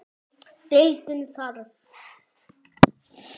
Deildin þarf